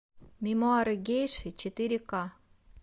мемуары гейши четыре к